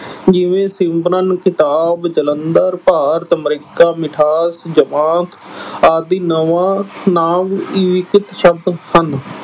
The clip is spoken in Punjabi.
ਜਿਵੇਂ ਸਿਮਰਨ, ਕਿਤਾਬ, ਜਲੰਧਰ, ਭਾਰਤ, America, ਮਿਠਾਸ, ਜਮਾਤ ਆਦਿ ਨਵਾਂ ਨਾਂਵ ਸ਼ਬਦ ਹਨ।